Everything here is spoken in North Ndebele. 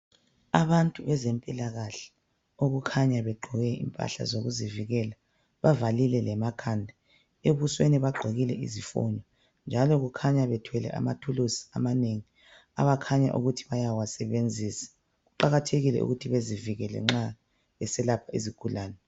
Abantu bezempilakahle okukhanya begqoke okokuzivikela bavalile lemakhanda, ebusweni bagqoke izifonyo njalo kukhanya bethwele amathuluzi amanengi abakhanya ukuthi bayawasebenzisa. Kuqakathekile ukuthi bazivikele nxa beselapha izigulane